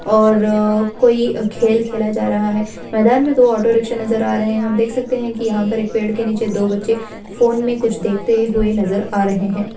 और कोई खेल खेला जा रहा है मैदान में दो ऑटो-रिक्से नजर आ रहे हैं देख सकते हैं की यहाँ पे एक पेड़ के निचे दो बच्चे फोन में कुछ देखते हुए नजर आ रहे हैं।